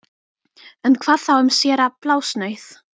En hvað þá um séra Blásnauð